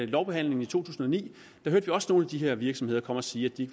lovbehandlingen i to tusind og ni hvor vi også hørte nogle af de her virksomheder komme og sige at de